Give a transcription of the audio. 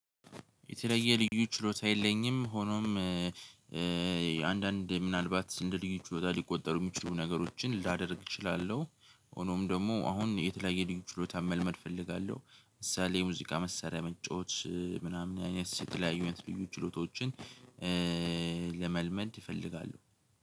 የተለየ ልዩ ችሎታ የለኝም ሆኖም አንዳንዴ ምናልባት እንደ ልዩ ችሎታ ሊቆጠሩ ሚችሉ ነገሮችን ላደርግ እችላለሁ። ሆኖም ደግሞ አሁን የተለያየ ልዩ ችሎታ መልመድ እፈልጋለሁ ምሳሌ የሙዚቃ መሳሪያ መጫወት ምናምን አይነት የተለያዩ አይነት ልዩ ችሎታዎችን ለመልመድ እፈልጋሉሁ።